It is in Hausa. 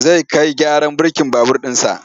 Zai kai gyaran birkin babur ɗinsa.